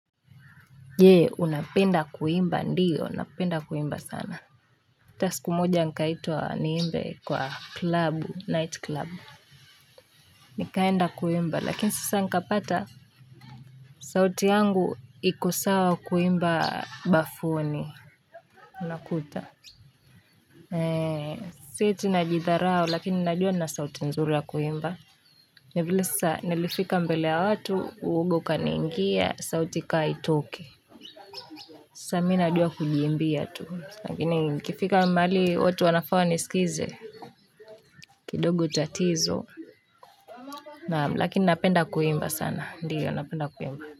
Je unapenda kuimba ndio napenda kuimba sana hata siku moja nikaitwa niimbe kwa club night club nikaenda kuimba lakini sasa nikapata sauti yangu iko sawa kuimba bafuni unakuta si eti najidharau lakini najua nina sauti nzuri ya kuimba ni vile sasa nilifika mbele ya watu uwoga ukaniingia sauti ikawa haitoki Sasa mi najua kujiimbia tu. Lakini ikifika mahali watu wanafaa wanisikize. Kidogo tatizo. Naam, lakini napenda kuimba sana. Ndiyo, napenda kuimba.